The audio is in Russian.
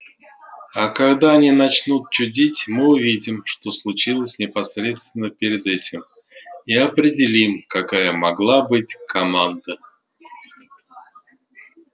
а когда они начнут чудить мы увидим что случилось непосредственно перед этим и определим какая могла быть команда